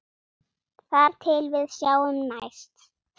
Þar til við sjáumst næst.